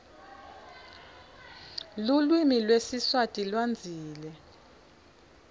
luklvimi lwesiswati wndtsile